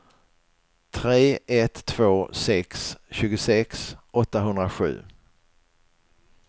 tre ett två sex tjugosex åttahundrasju